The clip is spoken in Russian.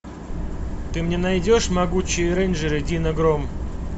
ты мне найдешь могучие рейнджеры дино гром